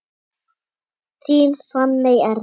Þín Fanney Erla.